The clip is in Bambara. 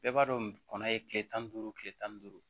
Bɛɛ b'a dɔn kɔnɔ ye kile tan ni duuru kile tan ni duuru